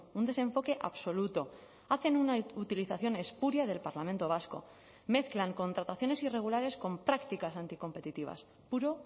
un desenfoque absoluto hacen una utilización espuria del parlamento vasco mezclan contrataciones irregulares con prácticas anticompetitivas puro